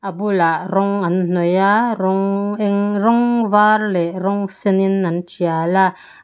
a bulah rawng an hnawih a rawng eng rawng var leh rawng sen in an tial a.